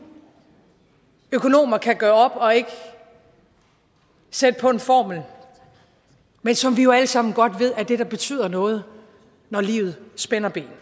økonomer kan gøre op og sætte på en formel men som vi jo alle sammen godt ved er det der betyder noget når livet spænder ben